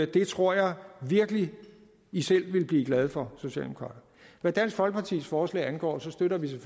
det tror jeg virkelig i selv ville blive glade for socialdemokrater hvad dansk folkepartis forslag angår støtter vi